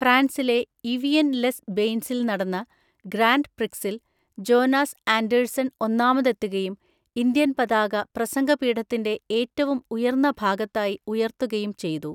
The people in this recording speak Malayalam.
ഫ്രാൻസിലെ ഇവിയൻ ലെസ് ബെയ്ൻസിൽ നടന്ന ഗ്രാൻഡ് പ്രിക്സിൽ ജോനാസ് ആൻഡേഴ്സൺ ഒന്നാമതെത്തുകയും ഇന്ത്യൻ പതാക പ്രസംഗപീഠത്തിന്റെ ഏറ്റവും ഉയർന്ന ഭാഗത്തായി ഉയർത്തുകയും ചെയ്തു.